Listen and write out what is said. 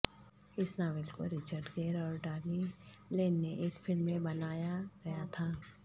اس novel کو Richard Gere اور Diane Lane نے ایک فلم میں بنایا گیا تھا